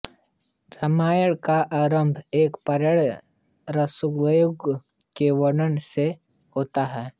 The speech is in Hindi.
रामायण का आरंभ एक प्रणयरत सारसयुगल के वर्णन से होता है